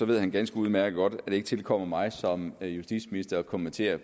ved han ganske udmærket godt at det ikke tilkommer mig som justitsminister at kommentere